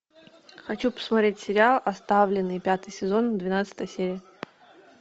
хочу посмотреть сериал оставленные пятый сезон двенадцатая серия